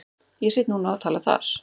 Ég sit núna og tala þar.